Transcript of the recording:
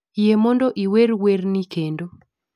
yie mondo iwer werni kendo